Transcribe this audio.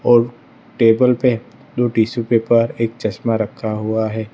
और टेबल पे दो टिशू पेपर एक चश्मा रखा हुआ है।